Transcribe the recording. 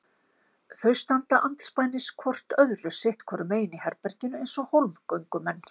Þau standa andspænis hvort öðru sitt hvoru megin í herberginu eins og hólmgöngumenn.